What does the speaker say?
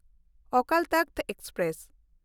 Akal Takht express